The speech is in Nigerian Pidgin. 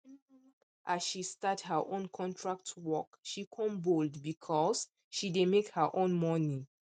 as she start her own contract work she come bold because she dey make her own money